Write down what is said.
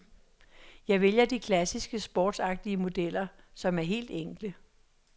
Jeg vælger de klassiske sportsagtige modeller, som er helt enkle.